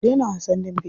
Ku daina wasan dambe.